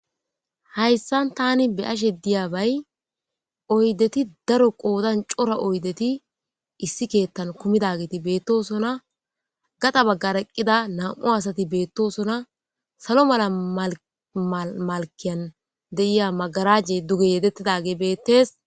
Hayssan tani be ashe diyabay oydeti daro qoodan cora oydeti issi keettan kumidageti beettosona gaxa baggar eqqida nam'u asati beettosona salo mala malkiyan de.iya magaraje duge yedettidage bettees.